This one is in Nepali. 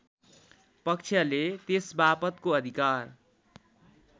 पक्षले त्यसबापतको अधिकार